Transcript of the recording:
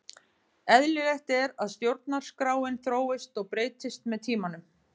Eðlilegt er að stjórnarskráin þróist og breytist með tímanum.